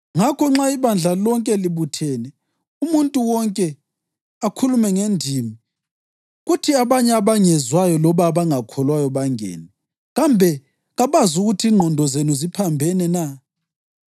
Ngakho nxa ibandla lonke libuthene umuntu wonke akhulume ngendimi, kuthi abanye abangezwayo loba abangakholwayo bangene, kambe kabazukuthi ingqondo zenu ziphambene na?